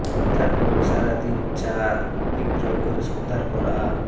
তারপরেও সারা দিন চা বিক্রয় করে সন্ধ্যার পর আ